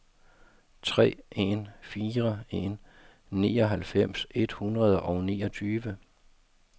tre en fire en nioghalvfems et hundrede og niogtyve